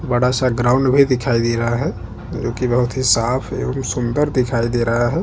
पेड़-पौधे भी दिखाई दे रहे है आसमान भी बहोत ही साफ दिखाई दे रहा है।